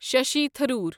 Shashi Tharoor